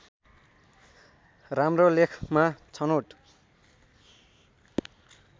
राम्रो लेखमा छनौट